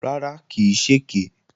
Rárá, kì í ṣèké